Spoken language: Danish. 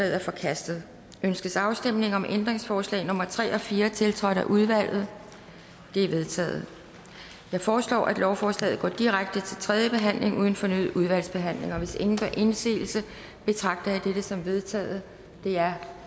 er forkastet ønskes afstemning om ændringsforslag nummer tre og fire tiltrådt af udvalget de er vedtaget jeg foreslår at lovforslaget går direkte til tredje behandling uden fornyet udvalgsbehandling hvis ingen gør indsigelse betragter jeg dette som vedtaget det er